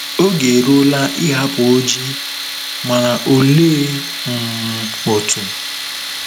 Oge eruola ịhapụ Oji - mana olee um otu?